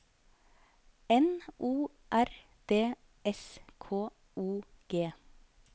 N O R D S K O G